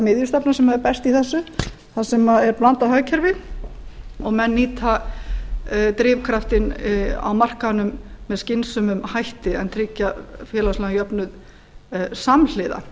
miðjustefnan sem er best í þessu þar sem blandað hagkerfi og menn nýta drifkraftinn á markaðnum með skynsömum hætti en tryggja félagsmálajöfnuð samhliða